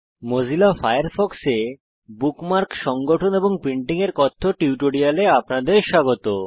Mozilla ফায়ারফক্সে bookmarks সংগঠন এবং প্রিন্টিং এর কথ্য টিউটোরিয়ালে আপনাদের স্বাগত